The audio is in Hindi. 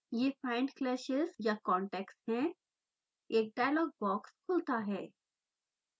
यह findclashes/contacts हैएक डायलॉग बॉक्स खुलता है